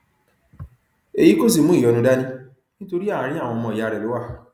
èyí kò sì mú ìyọnu dání nítorí àárín àwọn ọmọ ìyá rẹ ló wà